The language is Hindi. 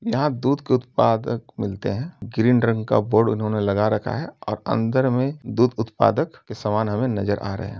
यहाँ दूध के उत्पादक मिलते हैं ग्रीन रंग का बोर्ड उन्होंने लगा रखा है और अंदर में दूध उत्पादक के समान हमें नज़र आ रहे हैं।